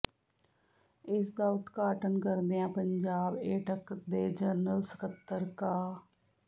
ਇਸਦਾ ਉਦਘਾਟਨ ਕਰਦਿਆਂ ਪੰਜਾਬ ਏਟਕ ਦੇ ਜਨਰਲ ਸਕੱਤਰ ਕਾ